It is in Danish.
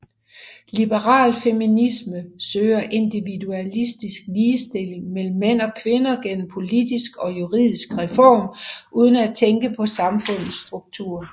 Liberal feminisme søger individualistisk ligestilling mellem mænd og kvinder gennem politisk og juridisk reform uden at ændre på samfundets struktur